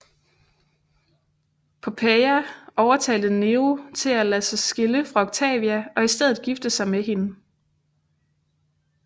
Poppæa overtalte Nero til at lade sig skille fra Octavia og i stedet gifte sig med hende